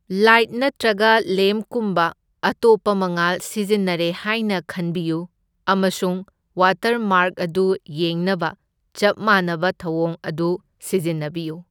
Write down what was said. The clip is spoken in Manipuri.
ꯂꯥꯏꯠ ꯅꯠꯇ꯭ꯔꯒ ꯂꯦꯝꯞꯀꯨꯝꯕ ꯑꯇꯣꯞꯄ ꯃꯉꯥꯜ ꯁꯤꯖꯤꯟꯅꯔꯦ ꯍꯥꯏꯅ ꯈꯟꯕꯤꯌꯨ ꯑꯃꯁꯨꯡ ꯋꯥꯇꯔꯃꯥꯔꯛ ꯑꯗꯨ ꯌꯦꯡꯅꯕ ꯆꯞ ꯃꯥꯟꯅꯕ ꯊꯧꯑꯣꯡ ꯑꯗꯨ ꯁꯤꯖꯤꯟꯅꯕꯤꯌꯨ꯫